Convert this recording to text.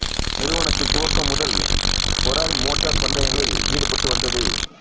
நிறுவனத்தின் துவக்கம் முதல் ஃபெராரி மோட்டார் பந்தயங்களில் ஈடுபட்டு வந்தது